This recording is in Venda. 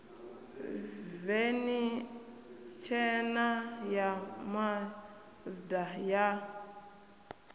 veni tshena ya mazda ya